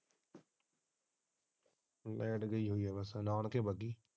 Light ਗਈ ਹੋਇ ਹੈ ਬਸ ਨਾਨਕੇ ਬੱਗੀ।